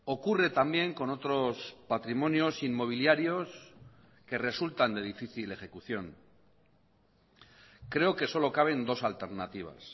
ocurre también con otros patrimonios inmobiliarios que resultan de difícil ejecución creo que solo caben dos alternativas